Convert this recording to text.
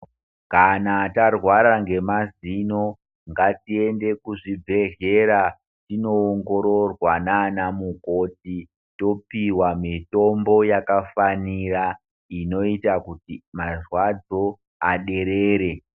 Kana tarwara ngemazino ngatiende kuzvibhedhlera tinoongororwa nana mukoti topiwa mitombo yakafanira inoita kuti marwadzo aderere.